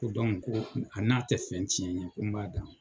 Ko ko a n'a tɛ fɛn tiyɛn n ye ko n b'a d'a ma.